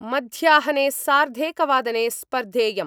मध्याहने सार्धेकवादने स्पर्धेयं